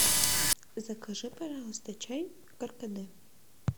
закажи пожалуйста чай каркаде